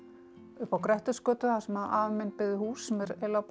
upp á Grettisgötu þar sem afi minn byggði hús sem er eiginlega